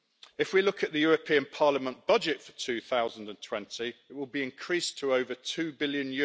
If we look at the European Parliament budget for 2020, it will be increased to over EUR 2 billion.